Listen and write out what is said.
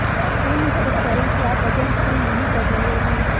सुनिश्चित करें कि आप वजन स्विंग नहीं कर रहे हैं